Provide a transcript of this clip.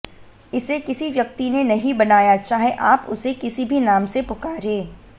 इसे किसी व्यक्ति ने नहीं बनाया चाहे आप उसे किसी भी नाम से पुकारें